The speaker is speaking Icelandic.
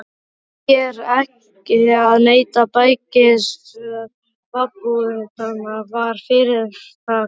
Því er ekki að neita: bækistöð babúítanna var fyrirtaks íverustaður.